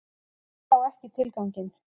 Ég sá ekki tilganginn.